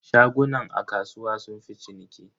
Shagunan a kasuwa sunfi ciniki.